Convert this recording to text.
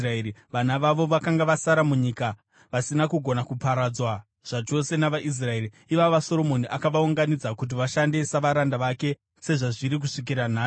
vana vavo vakanga vasara munyika, vasina kugona kuparadzwa zvachose navaIsraeri, ivava Soromoni akavaunganidza kuti vashande savaranda vake, sezvazviri kusvikira nhasi.